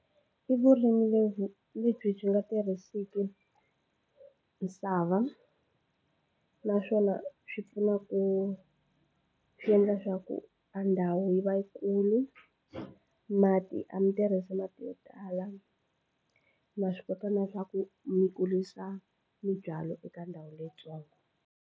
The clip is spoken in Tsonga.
I vurimi lebyi lebyi byi nga tirhiseki misava naswona swi pfuna ku swi endla swa ku a ndhawu yi va yikulu mati a mi tirhisa mati yo tala ma swi kota na swa ku mi kurisa mibyalo eka ndhawu leyitsongo.